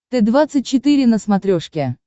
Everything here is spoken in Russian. т двадцать четыре на смотрешке